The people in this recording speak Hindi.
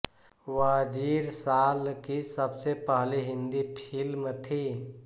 वज़ीर साल की सबसे पहली हिंदी फ़िल्म थी